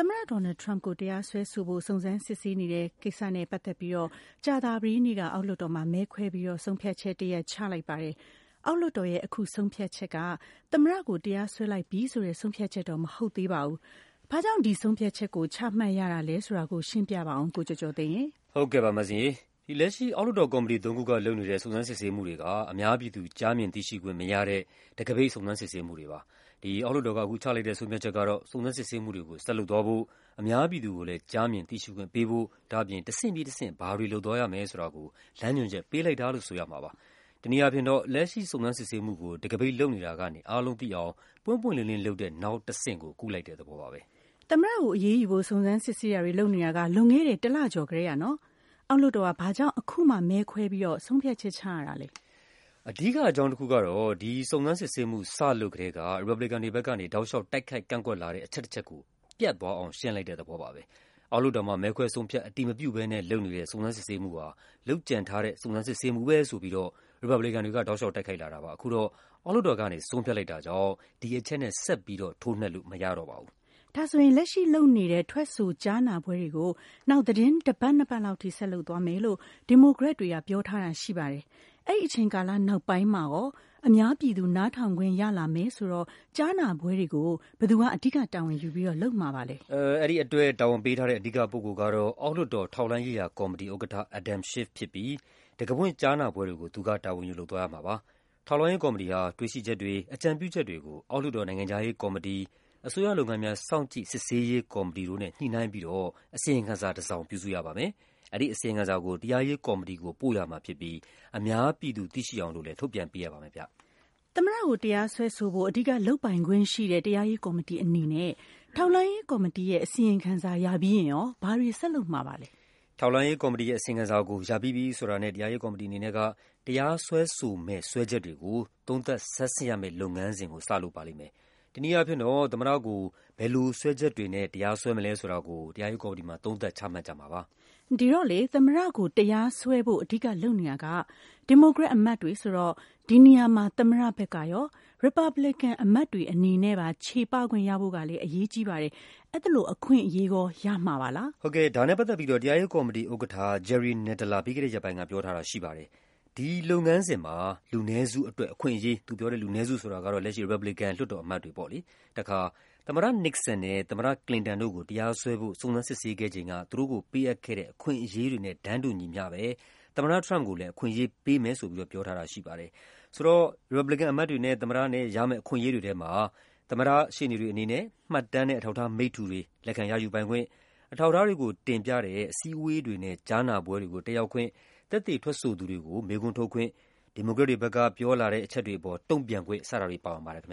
သမ္မတ ဒေါ်နယ်လ်ဒ် ထရမ့်ပ်ကို တရားစွဲဆိုဖို့ စုံစမ်းစစ်ဆေးနေတဲ့ကိစ္စနဲ့ပတ်သက်ပြီး ကြာသပတေးနေ့က အောက်လွှတ်တော်မှာ မဲခွဲပြီးတော့ ဆုံးဖြတ်ချက်တရပ် ချလိုက်ပါတယ်။ အောက်လွှတ်တော်ရဲ့ အခုဆုံးဖြတ်ချက်က သမ္မတကို တရားစွဲလိုက်ပြီဆိုတဲ့ ဆုံးဖြတ်ချက်တော့ မဟုတ်သေးပါဘူး။ ဘာ့ကြောင့် ဒီဆုံးဖြတ်ချက်ကို ချမှတ်ရတာလဲဆိုတာ ရှင်းပြပါဦး ကိုကျော်ကျော်သိန်းရေ ။ ဟုတ်ကဲ့ပါ၊ လက်ရှိ အောက်လွှတ်တော်ကော်မတီသုံးခုက လုပ်နေတဲ့ စုံစမ်းစစ်ဆေးမှုတွေက အများပြည်သူ ကြားမြင်သိရှိခွင့် မရတဲ့ တံခါးပိတ် စုံစမ်းစစ်ဆေးမှုတွေဖြစ်ပါတယ်။ အခုဆုံးဖြတ်ချက်ကတော့ စုံစမ်းစစ်ဆေးမှုတွေကို ဆက်လုပ်သွားဖို့၊ အများ ပြည်သူကိုလည်း ကြားမြင်သိရှိခွင့်ပေးဖို့၊ ဒါ့အပြင် တဆင့်ပြီးတဆင့် ဘာတွေလုပ်သွားရမယ်ဆိုတာကို လမ်းညွှန်ချက် ပေးလိုက် တာလို့ ဆိုရမှာပါ။ တနည်းအားဖြင့်တော့ လက်ရှိစုံစမ်းစစ်ဆေးမှုကို တံခါးပိတ်လုပ်နေတာကနေ အားလုံးသိအောင် ပွင့်ပွင့် လင်းလင်းလုပ်တဲ့ နောက်အဆင့်ကို ကူးလိုက်တာပါပဲ။ သမ္မတကိုအရေးယူဖို့ စုံစမ်းစစ်ဆေးတာတွေ လုပ်နေတာ လွန်ခဲ့တဲ့ တလကျော်ကတည်းကပါ။ အောက်လွှတ်တော်က ဘာ့ကြောင့် အခုမှ မဲခွဲပြီး ဆုံးဖြတ်ချက်ချရတာလဲ။ အဓိကအကြောင်းတခုကတော့ ဒီစုံစမ်းစစ်ဆေးမှု စလုပ်ကတည်းက ရီပတ်ဘလီကန်တွေဘက်ကနေ တောက်လျှောက် တိုက်ခိုက် ကန့်ကွက်လာတဲ့ အချက်တချက်ကို ပြတ်အောင် ရှင်းလိုက်တဲ့သဘောပါပဲ။ အောက်လွှတ်တော်မှာ မဲခွဲဆုံးဖြတ် အတည်မပြုဘဲနဲ့ လုပ်နေတဲ့ စုံစမ်းစစ်ဆေးမှုဟာ လုပ်ကြံထားတဲ့ စုံစမ်းစစ်ဆေးမှုပဲဖြစ်တယ်ဆိုပြီးတော့ ရီပတ်ဘလီကန်တွေက တိုက်ခိုက်လာတာပါ။ အခုတော့ အောက်လွှတ်တော်ကနေ ဆုံးဖြတ်လိုက်တာကြောင့် ဒီအချက်နဲ့ ဆက်ပြီးထိုးနှက်လို့မရတော့ပါ ဘူး။ လက်ရှိလုပ်နေတဲ့ ထွက်ဆိုကြားနာပွဲတွေကို နောက် သီတင်းတပတ် နှစ်ပတ်လောက်အထိ ဆက်လုပ်သွားမယ်လို့ ဒီမိုကရက်တွေက ပြောထားတာရှိပါတယ်။ အဲဒီအချိန်ကာလနောက်ပိုင်းမှာ အများပြည်သူ နားထောင်ခွင့်ရလာမယ်ဆိုတော့ ကြားနာပွဲတွေကို ဘယ်သူက အဓိကတာဝန်ယူပြီးလုပ်မှာပါလဲ။ အဲဒီအတွက် တာဝန်ပေးထားတဲ့ အဓိကပုဂ္ဂိုလ်ကတော့ အောက်လွှတ်တော် ထောက်လှမ်းရေးရာကော်မတီဥက္ကဋ္ဌ Adam Schiff ဖြစ်ပြီး တံခါးဖွင့်ကြားနာပွဲတွေကို သူက တာဝန်ယူလုပ်သွားရမှာပါ။ ထောက်လှမ်းရေးကော်မတီဟာ တွေ့ရှိချက်တွေ၊ အကြံပြုချက်တွေကို အောက်လွှတ်တော် နိုင်ငံခြားရေးကော်မတီ၊ အစိုးရလုပ်ငန်းများ စောင့်ကြည့် စစ်ဆေးရေးကော်မတီတို့နဲ့ ညှိနှိုင်းပြီးတော့ အစီရင်ခံစာတစောင် ပြုစုရပါမယ်။ အဲဒီအစီရင်ခံစာကို တရားရေးကော်မတီကို ပို့ရမှာဖြစ်ပြီး အများပြည်သူ သိရှိ အောင်လည်း ထုတ်ပြန်ပေးရပါမယ်။ သမ္မတကို တရားစွဲဆိုဖို့ အဓိကလုပ်ပိုင်ခွင့်ရှိတဲ့ တရားရေးကော်မတီအနေနဲ့ ထောက်လှမ်းရေးကော်မတီရဲ့ အစီရင်ခံစာ ရပြီးရင် ဘာတွေဆက်လုပ်မှာပါလဲ။ ထောက်လှမ်းရေးကော်မတီရဲ့ အစီရင်ခံစာကို ရပြီးပြီဆိုတာနဲ့ တရားစွဲဆိုမယ့် စွဲချက်တွေကို သုံးသပ်ဆန်းစစ်ရမယ့် လုပ်ငန်းစဉ်ကို တရားရေးကော်မတီက စလုပ်မှာပါ။ တနည်းအားဖြင့် သမ္မတကို ဘယ်လိုစွဲချက်တွေနဲ့ တရားစွဲမလဲဆိုတာကို သုံးသပ် ချမှတ်ကြမှာဖြစ်ပါတယ်။ သမ္မတကိုတရားစွဲဖို့ အဓိကလုပ်နေတာက ဒီမိုကရက်အမတ်တွေဆိုတော့ ဒီနေရာမှာ သမ္မတဘက်ကရော၊ ရီပတ်ဘလီကန်အမတ်တွေအနေနဲ့ပါ ချေပခွင့်ရဖို့ကလည်း အရေးကြီးပါတယ်။ အဲဒီလိုအခွင့်အရေး ရကြမှာပါလား။ အဲဒီလုပ်ငန်းစဉ်မှာ “လူနည်းစုအတွက် အခွင့်အရေး၊ သမ္မတ Nixon နဲ့ သမ္မတ Clinton တို့ကို တရားစွဲဖို့ စုံစမ်းစစ်ဆေး ခဲ့ချိန်က ပေးအပ်ခဲ့တဲ့ အခွင့်အရေးတွေနဲ့တန်းတူ သမ္မတအတွက် အခွင့်အရေးတွေကိုပေးမယ်” လို့ တရားရေးကော်မတီဥက္ကဋ္ဌ Jerry Nadler က ပြောထားပါတယ်။ လူနည်းစုဆိုတာကတော့ ရီပတ်ဘလီကန်အမတ်တွေကို ရည်ညွှန်းတာပါ။ ရမယ့် အခွင့် အရေးတွေထဲမှာ သမ္မတရဲ့ ရှေ့နေတွေအနေနဲ့ မှတ်တမ်းနဲ့ အထောက်အထားမိတ္တူတွေ လက်ခံရယူပိုင်ခွင့်၊ အထောက်အထား တွေကိုတင်ပြတဲ့ အစည်းအဝေးတွေနဲ့ ကြားနာပွဲတွေကို တက်ရောက်ခွင့်၊ သက်သေထွက်ဆိုသူတွေကို မေးခွန်းထုတ်ခွင့်၊ ဒီမို ကရက်တွေဘက်က ပြောဆိုချက်တွေအပေါ် တုံ့ပြန်ခွင့် စတာတွေ ပါဝင်ပါတယ်။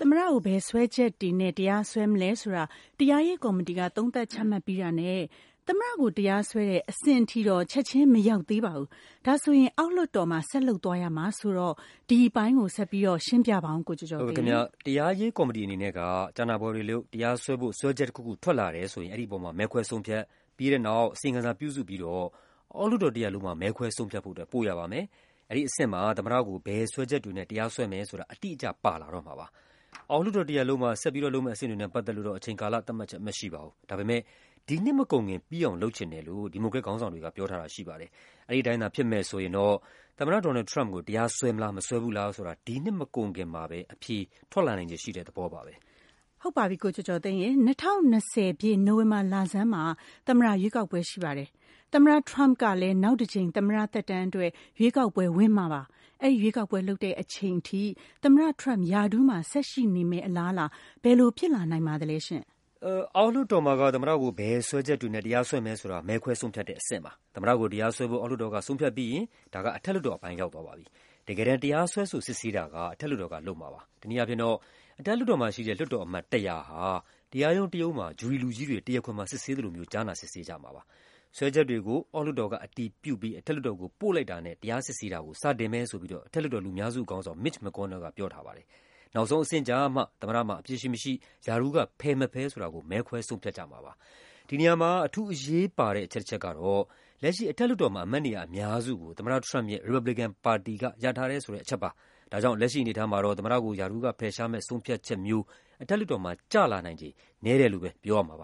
သမ္မတကို ဘယ်စွဲချက်တွေနဲ့ တရားစွဲမလဲဆိုတာ တရားရေးကော်မတီက သုံးသပ်ချမှတ်ပြီးတာနဲ့ သမ္မတကို တရားစွဲတဲ့ အဆင့်ထိတော့ ချက်ခြင်းမရောက်သေးပါဘူး။ ဒါက အောက်လွှတ်တော်မှာ ဆက်လုပ်သွားရမှာဆိုတော့ ဒီအပိုင်း ဆက်ရှင်းပြပါဦး။ တရားရေးကော်မတီအနေနဲ့ ကြားနာပွဲတွေလုပ်၊ တရားစွဲဖို့ စွဲချက်တခုခု ထွက်လာတယ်ဆိုရင် အဲဒီအပေါ် မဲခွဲဆုံးဖြတ်၊ ပြီးတဲ့နောက် အစီရင်ခံစာပြုစုပြီး အောက်လွှတ်တော်တရပ်လုံးမှာ မဲခွဲဆုံးဖြတ်ဖို့ ပို့ရပါမယ်။ အဲဒီအဆင့်မှာ သမ္မတကို ဘယ်စွဲချက် တွေနဲ့ တရားစွဲမယ်ဆိုတာ အတိအကျပါလာတော့မှာပါ။ အောက်လွှတ်တော်တရပ်လုံးမှာ ဆက်လုပ်မယ့်အဆင့်တွေနဲ့ ပတ်သက် လို့တော့ အချိန်ကာလသတ်မှတ်ချက် မရှိပါဘူး။ ဒါပေမယ့် ဒီနှစ်မကုန်ခင် ပြီးအောင်လုပ်ချင်တယ်လို့ ဒီမိုကရက်ခေါင်းဆောင် တွေက ပြောထားပါတယ်။ အဲဒီအတိုင်းဖြစ်မယ်ဆိုရင်တော့ သမ္မတ ဒေါ်နယ်လ်ဒ် ထရမ့်ပ်ကို တရားစွဲမလား မစွဲဘူးလားဆိုတာ ဒီနှစ်မကုန်ခင်မှာ အဖြေထွက်လာနိုင်ခြေရှိတဲ့သဘောပါပဲ။ ၂၀၂၀ ပြည့်၊ နိုဝင်ဘာလဆန်းမှာ သမ္မတရွေးကောက်ပွဲရှိပါတယ်။ သမ္မတထရမ့်ပ်ကလည်း နောက်တကြိမ် သမ္မတ သက်တမ်းအတွက် ရွေးကောက်ပွဲဝင်မှာပါ။ အဲဒီရွေးကောက်ပွဲလုပ်တဲ့အချိန်ထိ သမ္မတထရမ့်ပ် ရာထူးမှာဆက်ရှိနေမယ့် အလားအလာ ဘယ်လိုဖြစ်လာနိုင်ပါသလဲ။ အောက်လွှတ်တော်မှာက သမ္မတကို ဘယ်စွဲချက်တွေနဲ့ တရားစွဲမယ်ဆိုတာ မဲခွဲဆုံးဖြတ်တဲ့အဆင့်ပါ။ သမ္မတကို တရား စွဲဖို့ အောက်လွှတ်တော်က ဆုံးဖြတ်ပြီးရင် အထက်လွှတ်တော်အပိုင်း ရောက်သွားပါပြီ။ တကယ်တမ်း တရားစွဲဆို စစ်ဆေးတာက အထက်လွှတ်တော်က လုပ်မှာပါ။ တနည်းအားဖြင့်တော့ အထက်လွှတ်တော်က လွှတ်တော်အမတ် ၁၀၀ ဟာ တရားရုံးတရုံးမှာ ဂျူရီလူကြီးတွေ တရားခွင်မှာ စစ်ဆေးသလို ကြားနာ စစ်ဆေးကြမှာပါ။ စွဲချက်တွေကို အောက်လွှတ်တော်က အတည်ပြုပြီး အထက်လွှတ်တော်ကို ပို့လိုက်တာနဲ့ တရားစစ်ဆေးတာကို စတင်မယ်လို့ အထက်လွှတ်တော် လူများစုခေါင်းဆောင် Mitch McConnell က ပြောထားပါတယ်။ နောက်ဆုံးအဆင့်ကျမှ သမ္မတမှာ အပြစ်ရှိမရှိ၊ ရာထူးကဖယ်မဖယ်ဆိုတာကို မဲခွဲဆုံးဖြတ်ကြ မှာပါ။ ဒီနေရာမှာ အထူးအရေးပါတဲ့ အချက်တချက်ကတော့ လက်ရှိအထက်လွှတ်တော်မှာ အမတ်နေရာအများစုကို သမ္မတ ထရမ့်ပ်ရဲ့ ရီပတ်ဘလီကန်ပါတီက ရထားတယ်ဆိုတဲ့ အချက်ပါပဲ။ ဒါကြောင့် လက်ရှိအနေအထားမှာတော့ သမ္မတကို ရာထူးက ဖယ်ရှားမယ့်ဆုံးဖြတ်ချက်မျိုး အထက်လွှတ်တော်မှာ ကျလာနိုင်ခြေ နည်းတယ်လို့ပဲပြောရမှာပါ